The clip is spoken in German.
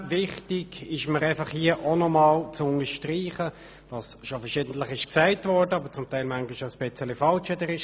Wichtig ist mir, hier auch noch etwas zu unterstreichen, was verschiedentlich gesagt wurde, aber manchmal etwas falsch: